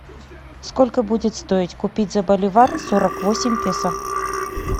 сколько будет стоить купить за боливар сорок восемь песо